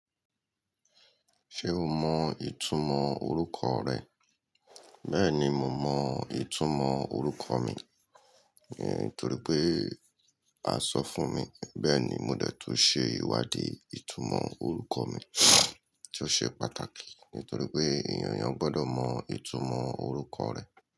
Ṣé o mọ ìtumọ̀ orúkọ rẹ? Bẹ́ẹ̀ni, mo mọ ìtumọ̀ orúkọ mi, nítorí pé a sọ fún mi. Bẹ́ẹ̀ ni, mo dẹ́tù ṣe ìwádìí ìtumọ̀ orúkọ mi, tí ó ṣe pàtàkì, nítorí pé ènìyàn gbọ́dọ̀ mọ ìtumọ̀ orúkọ rẹ̀.